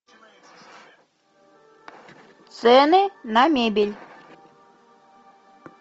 цены на мебель